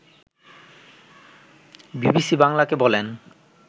BBC বাংলাকে বলেন